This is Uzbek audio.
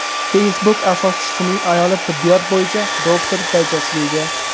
Facebook asoschisining ayoli tibbiyot bo‘yicha doktorlik darajasiga ega.